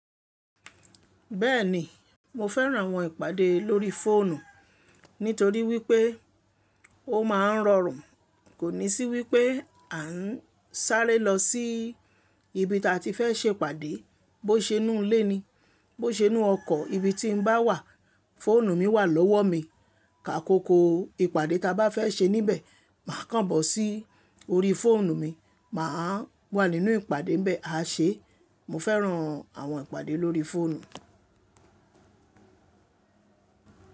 Bẹ́ẹ̀ni, mo fẹ́ràn àwọn ìpàdé lórí fóònù, nítorí wípé ó máa ń rọrùn. Kò ní sí wípé à ń sáré lọ sí ibi tí a ti fẹ́ ṣe ìpàdé, bó ṣe inú ilé ni, bó ṣe inú ọkọ̀, ibi tí mo bá wà, fóònù mi wà lọ́wọ́ mi. Akoko ìpàdé ta bá fẹ́ ṣe níbẹ̀, màá kàn bọ̀ sí orí fóònù mi, mà á wà nínú ìpàdé ńbẹ àaṣe. Mo fẹ́ràn àwọn ìpàdé lórí fóònù.